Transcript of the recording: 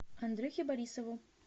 андрюхе борисову